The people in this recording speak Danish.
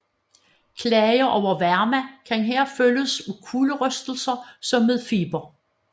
Klager over varme kan her følges af kulderystelser som ved feber